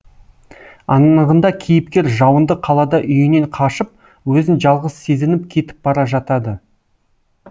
анығында кейіпкер жауынды қалада үйінен қашып өзін жалғыз сезініп кетіп бара жатады